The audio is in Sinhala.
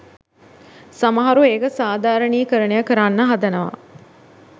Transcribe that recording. සමහරු ඒක සාදාරනීකරනය කරන්න හදනව